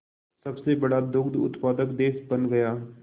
सबसे बड़ा दुग्ध उत्पादक देश बन गया